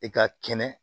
I ka kɛnɛ